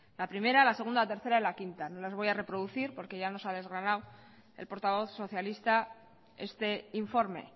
la primera la segunda la tercera y la quinta no las voy a reproducir porque ya nos ha desgranado el portavoz socialista este informe